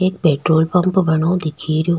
एक petrol pump बनयो दिखरयो।